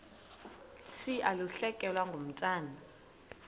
thi ulahlekelwe ngumntwana